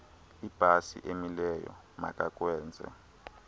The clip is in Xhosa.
ibhasi emileyo makakwenze